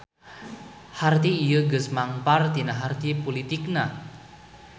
Harti ieu geus mengpar tina harti pulitikna.